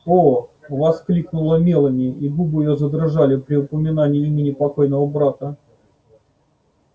о воскликнула мелани и губы её задрожали при упоминании имени покойного брата